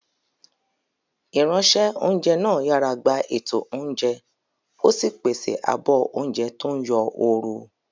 Ìránṣẹ́-oúnjẹ náà yàrá gba ètò oúnjẹ, ó sì pèsè àbọ̀ oúnjẹ tó ń yọ ooru.